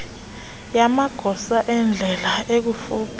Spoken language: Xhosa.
yamagosa endlela ekufuphi